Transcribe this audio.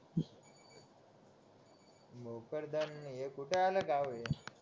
बोकड धर हे कुठं आलं गाव हे